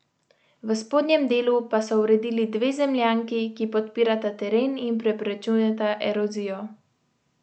V spodnjem delu pa so uredili dve zemljanki, ki podpirata teren in preprečujeta erozijo.